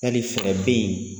Yali fɛɛrɛ bɛ yi